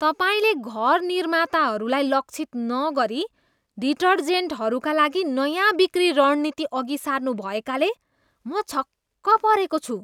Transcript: तपाईँले घर निर्माताहरूलाई लक्षित नगरी डिटर्जेन्टहरूका लागि नयाँ बिक्री रणनीति अघि सार्नु भएकाले म छक्क परेको छु।